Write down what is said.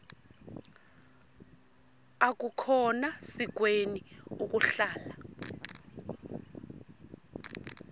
akukhona sikweni ukuhlala